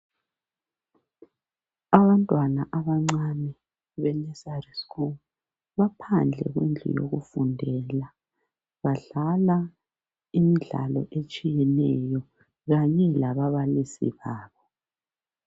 Abantwana abancane be nursery school baphandle kwendlu yokufundela badlala imidlalo etshiyeneyo kanye lababalisi babo.